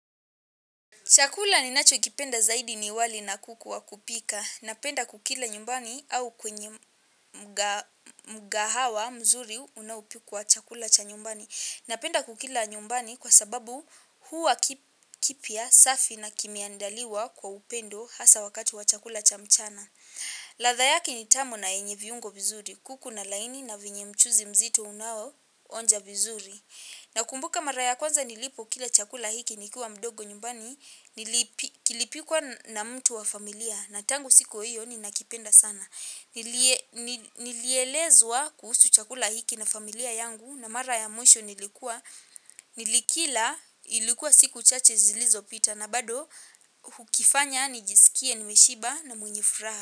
Chakula ninachokipenda zaidi ni wali na kuku wa kupika. Napenda kukila nyumbani au kwenye mkahawa mzuri unaopikwa chakula cha nyumbani. Napenda kukila nyumbani kwa sababu huwa kipya safi na kimeandaliwa kwa upendo hasa wakati wa chakula cha mchana. Ladha yake ni tamu na yenye viungo vizuri, kuku na laini na vyenye mchuzi mzito unaoonja vizuri. Nakumbuka mara ya kwanza nilipokila chakula hiki nikiwa mdogo nyumbani kilipikwa na mtu wa familia na tangu siku hiyo ninakipenda sana. Nilielezwa kuhusu chakula hiki na familia yangu na mara ya mwisho nilikuwa nilikila ilikuwa siku chache zilizopita na bado hukifanya nijisikie nimeshiba na mwenye furaha.